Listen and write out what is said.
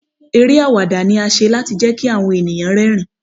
Eré àwàdà ni a ṣe láti jẹ́ kí àwọn ènìyàn rẹ́ rìn-ín.